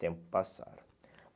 Tenho que passar.